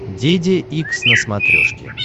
деде икс на смотрешке